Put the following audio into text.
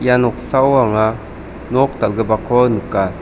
ia noksao anga nok dal·gipako nika.